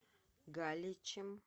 галичем